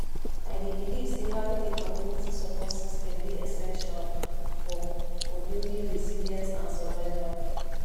i dey believe say having a community support system dey essential for for building resilience and survival